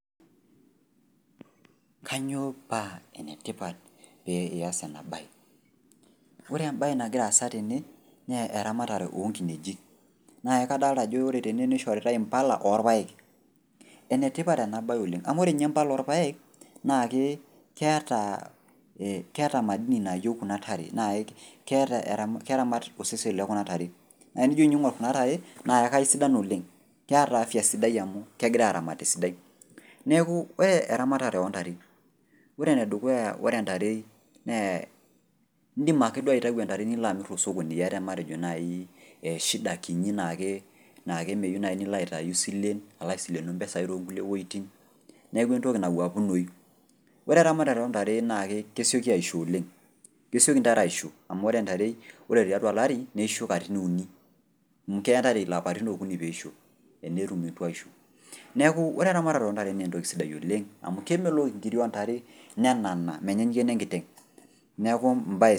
Kanyoo paa enetipat pee ias ena baye, ore embaye nagira aasa tene naa eramatare oonkineji. Naa kadolta ajo ore tene neishoritai impala oorpaek. Enetipat enabaye oleng' amu ore ninye impala orpaek naake keata madini naayou kuna tare naake keeta, keramat osesen le kuna tare. Naa nijo ing'orr kuna tare naake kaisidan oleng', keata afya sidai amu kegirai aramat esidai. Neaku ore eramatare ontare, ore enedukuya ore ntare naa indim ake duo aitayu ntare niloamirr tosokoni iata matejo naii ee shida kinyi naake naake meyou nai nilo aitayu silen aloaisilenu mpisai toonkulie pueitin, neaku entoki nawuaapunoyu. Ore ramatare ontare naake kesioki aisho oleng', kesioki ntare isho amu ore ntare ore tiatua olari neisho katitin uni. Keaya ntare lapatin okuni peisho enetum nutuaisho. Neaku ore eramatare ontare neentoki sidai oleng' amu kemelok inkiri ontare nenana menyaanyukie nenkiteng' neaku mbaye.